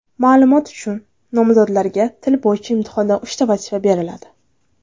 Ma’lumot uchun, nomzodlarga til bo‘yicha imtihonda uchta vazifa beriladi.